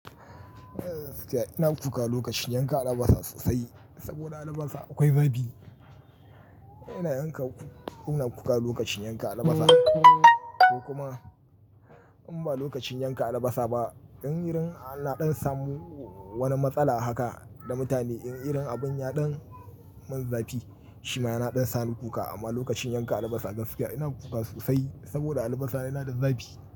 Gaskiya ina kuka lokacin yanka albasa sosai saboda albasa akwai zafi. Ina yanka, ina kuka lokacin yanka albasa ko kuma in ba lokacin yanka albasa ba, in irin ana samun wani matsala haka da mutane in irin abun ya dan mun zafi, shi ma yana dan sani kuka. Amma lokacin yanka albasa gaskiya ina kuka sosai saboda albasa yana da zafi.